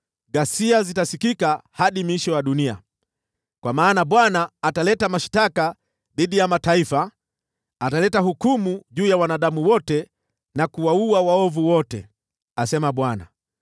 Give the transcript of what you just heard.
Ghasia zitasikika hadi miisho ya dunia, kwa maana Bwana ataleta mashtaka dhidi ya mataifa; ataleta hukumu juu ya wanadamu wote na kuwaua waovu wote,’ ” asema Bwana .